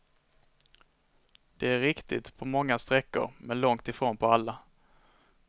Det är riktigt på många sträckor, men långt ifrån på alla.